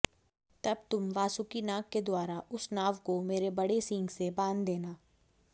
तब तुम वासुकि नाग के द्वारा उस नाव को मेरे बड़े सींग से बांध देना